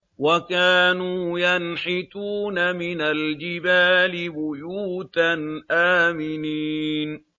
وَكَانُوا يَنْحِتُونَ مِنَ الْجِبَالِ بُيُوتًا آمِنِينَ